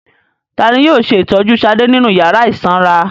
Ta ni yóò ṣe ìtọ́jú Ṣadé nínú ìyàrá ìsanra?